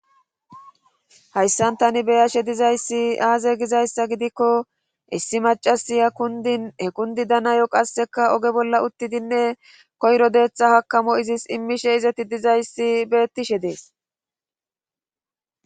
Hayssan tani beyashe dizayssi aaze gizayssa gidikko issi macasiya kundin hekundi danayo qasseka oge bolla uttidinne koyro deeththa hakamo izis immishe izeti dizayssi beettishe dees.